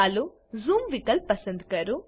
ચાલો ઝૂમ વિકલ્પ પસંદ કરો